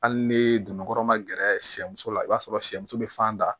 Hali ni dongo kɔnɔ ma gɛrɛ sɛmuso la i b'a sɔrɔ sɛmuso be fan da